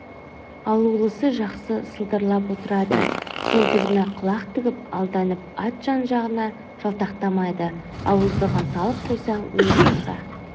алулысы жақсы сылдырлап отырады сылдырына құлақ тігіп алданып ат жан-жағына жалтақтамайды ауыздығын салып қойсаң не болса